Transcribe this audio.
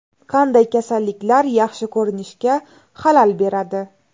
Qanday kasalliklar yaxshi ko‘rinishga xalal beradi?.